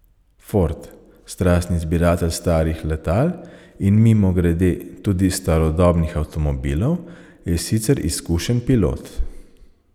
Ford, strastni zbiratelj starih letal in, mimogrede, tudi starodobnih avtomobilov, je sicer izkušen pilot.